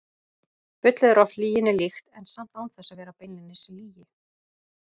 Bullið er oft lyginni líkt, en samt án þess að vera beinlínis lygi.